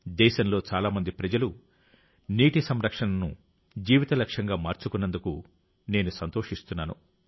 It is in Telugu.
దేశంలో చాలా మంది ప్రజలు నీటి సంరక్షణను జీవిత లక్ష్యంగా మార్చుకున్నందుకు నేను సంతోషిస్తున్నాను